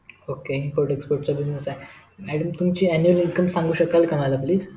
okay import export चा business आहे madam तुमची annual income सांगु शेकाल का मला please